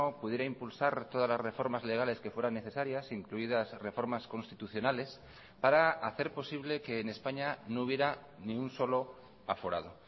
pudiera impulsar todas las reformas legales que fueran necesarias incluidas reformas constitucionales para hacer posible que en españa no hubiera ni un solo aforado